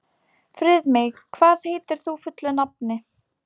Friðmey, hvað heitir þú fullu nafni?